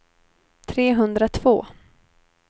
trehundratvå